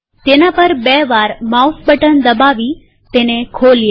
તેના પર બે વાર માઉસ બટન દબાવી તેને ખોલીએ